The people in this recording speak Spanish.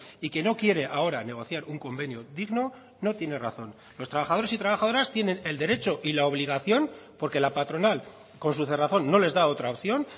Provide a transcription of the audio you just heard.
y que no quiere ahora negociar un convenio digno no tiene razón los trabajadores y trabajadoras tienen el derecho y la obligación porque la patronal con su cerrazón no les da otra opción